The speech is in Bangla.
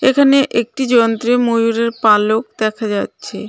এখানে একটি যন্ত্রে ময়ূরের পালক দেখা যাচ্ছে .